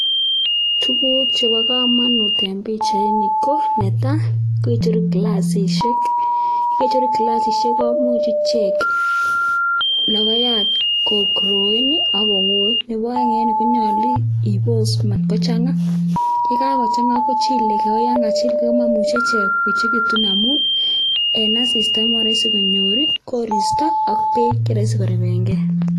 Tuguk chebo komonut en pichaini ko icheru klassisiek ,kecheru klassisiek komuch ichek logoyat 'kogrowen' akowoit, nebo aeng en ireyu konyolu ibos mat kochang'a yekakochang'a kochileke ako yan kachilke komomuche ichek koechekitu amun en asista komoroisi konyor koristo ak beek cheroisi korepenge.